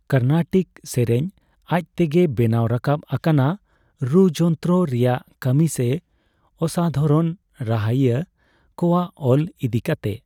ᱠᱚᱨᱱᱟᱴᱤᱠ ᱥᱮᱨᱮᱧ ᱟᱡᱽ ᱛᱮᱜᱮ ᱵᱮᱱᱟᱣ ᱨᱟᱠᱟᱵ ᱟᱠᱟᱱᱟ ᱨᱩᱼᱡᱚᱱᱛᱨᱚ ᱨᱮᱭᱟᱜ ᱠᱟᱹᱢᱤ ᱥᱮ ᱚᱥᱟᱫᱷᱟᱨᱚᱱ ᱨᱟᱦᱟᱭᱤᱭᱟᱹ ᱠᱚᱣᱟᱜ ᱚᱞ ᱤᱫᱤᱠᱟᱛᱮ ᱾